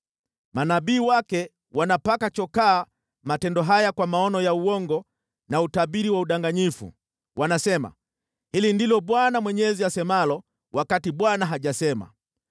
Manabii wake wanapaka chokaa matendo haya kwa maono ya uongo na utabiri wa udanganyifu. Wanasema, ‘Hili ndilo Bwana Mwenyezi asemalo,’ wakati Bwana hajasema.